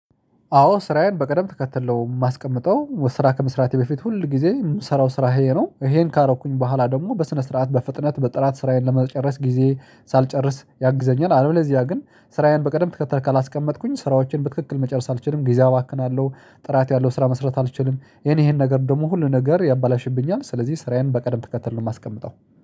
አዎ ስራዬን በቀደም ተከትል የማስቀምጠው ስራ ከመስራቴ በፊት ሁል ጊዜ የምሰራው ስራ ይሄ ነው ይሄን ካረኩኝ በኋላ ደግሞ በስነ ስርዓት በፍጥነት በጥራት ስራዬን ለመጨረስ ጊዜ ሳልጨርስ ያግዘኛል አለበለዚያ ግን ስራዬን በቀደም ትከተል ካላስቀመጥኩኝ ስራዎችን በትክክል መጨረስ አልችልም ጊዜ አባክናለሁ ጥራት ያለው ስራ መስራት አልችልም ይሄን ይሄን ነገር ሁሉ ነገር ያበላሽብኛል ስለዚህ ስራዬን በቀደም ትከተል ነው። የማስቀምጠው